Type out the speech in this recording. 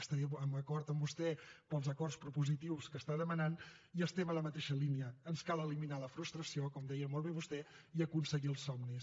estaré d’acord amb vostè pels acords propositius que està demanant i estem en la mateixa línia ens cal eliminar la frustració com deia molt bé vostè i aconseguir els somnis